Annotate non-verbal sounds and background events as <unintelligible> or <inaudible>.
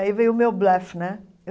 Aí veio o meu <unintelligible> né.